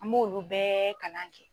An m'olu bɛɛ kalan kɛ.